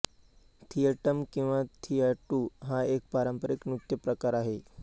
थियट्टम किंवा थियाट्टू हा एक पारंपारिक नृत्य प्रकार आहे